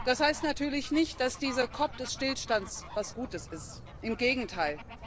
Das heißt natürlich nicht, dass diese COP des Stillstands etwas Gutes ist. Im Gegenteil!